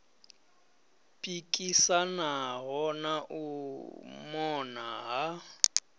pikisanaho na u mona ha